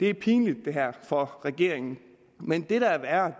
er pinligt for regeringen men det der er